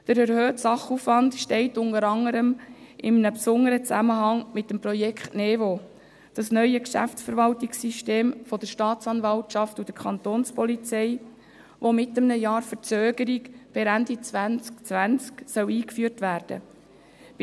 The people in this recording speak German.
Der erhöhte Sachaufwand steht unter anderem in einem besonderen Zusammenhang mit dem Projekt Neue Vorgangsbearbeitung (NeVo), dem neuen Geschäftsverwaltungssystem der Staatsanwaltschaft und der Kantonspolizei (Kapo), welches mit einem Jahr Verzögerung per Ende 2020 eingeführt werden soll.